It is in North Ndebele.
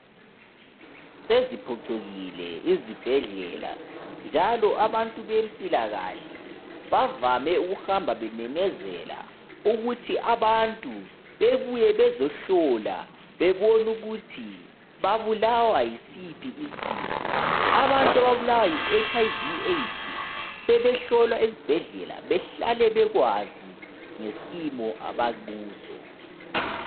Seziphicukile izibhedlela njalo abantu bempilakahle bavame ukuhamba bememeza ukuthi abantu bebuye bezohlola bebone ukuthi babulawa yisiphi isifo abantu ababulawa yiHIV/AIDS sebehlolwa esibhedlela behlabe bekwazi ngesimo abakuso.